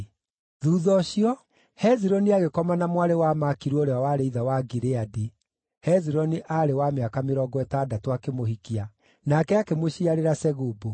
Thuutha ũcio, Hezironi agĩkoma na mwarĩ wa Makiru ũrĩa warĩ ithe wa Gileadi (Hezironi aarĩ wa mĩaka mĩrongo ĩtandatũ akĩmũhikia), nake akĩmũciarĩra Segubu.